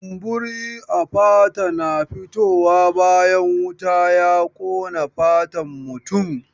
Kumburi a fata na fitowa bayan wuta ya ƙona fatan mutum.